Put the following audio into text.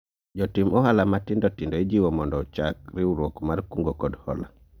Jotim ohala matindo tindo ijiwo mondo ochak riwruok mar kungo kod hola